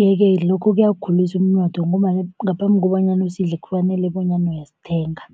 Yeke lokho kuyawukhulisa umnotho, ngombana ngaphambi kobanyana usidle kufanele bonyana uyasithenga.